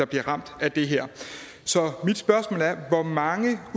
bliver ramt af det her så mit spørgsmål er hvor mange